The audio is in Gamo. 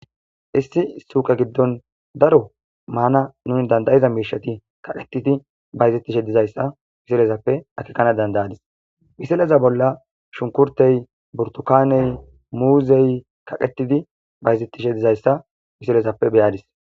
issi suuqa giddon daro maana nuni dandayiza miishati kaqetidi bayzettishe dizayssa misilezappe akikkana dandayadis misileza bolla shunkurtey burtukaaney muuzey kaqetidi bayzettishe dizayssa misilezappe beyadis